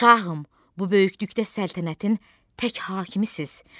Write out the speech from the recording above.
Şahım, bu böyüklükdə səltənətin tək hakimisiz.